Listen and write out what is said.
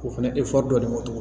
O fɛnɛ efɔri dɔɔnin bɔ